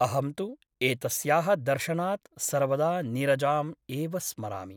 अहं तु एतस्याः दर्शनात् सर्वदा नीरजाम् एव स्मरामि ।